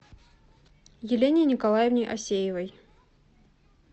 елене николаевне асеевой